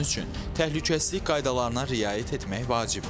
Bunun üçün təhlükəsizlik qaydalarına riayət etmək vacibdir.